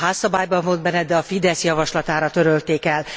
A házszabályban volt benne, de a Fidesz javaslatára törölték el.